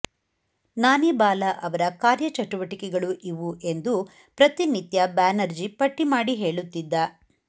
ನಾನಿಬಾಲಾ ಅವರ ಕಾರ್ಯಚಟುವಟಿಕೆಗಳು ಇವು ಎಂದು ಪ್ರತಿನಿತ್ಯ ಬ್ಯಾನರ್ಜಿ ಪಟ್ಟಿಮಾಡಿ ಹೇಳುತ್ತಿದ್ದ